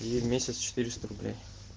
и в месяц четыреста рублей